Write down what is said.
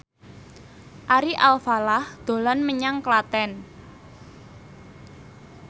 Ari Alfalah dolan menyang Klaten